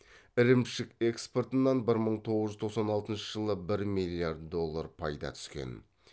ірімшік экспортынан бір мың тоғыз жүз тоқсан алтыншы жылы бір миллиард доллар пайда түскен